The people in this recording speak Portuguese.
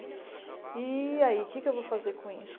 E aí, o que eu vou fazer com isso?